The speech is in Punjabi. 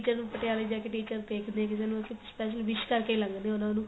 teacher ਨੂੰ ਪਟਿਆਲੇ ਜਾ ਕੇ teacher ਦੇਖਦੇ ਕਿਸੇ ਨੂੰ special wish ਕਰਕੇ ਲੰਗਦੇ ਉਹਨਾ ਨੂੰ